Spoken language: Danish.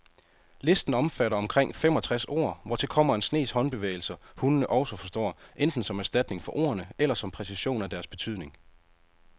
Listen omfatter omkring femogtres ord, hvortil kommer en snes håndbevægelser, hundene også forstår, enten som erstatning for ordene eller som præcision af deres betydning.